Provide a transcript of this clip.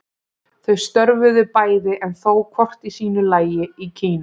Þau störfuðu bæði, en þó hvort í sínu lagi, í Kína.